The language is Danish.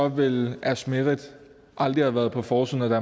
ville asmeret aldrig have været på forsiden af